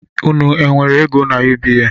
Unu e nwere ego n’UBA?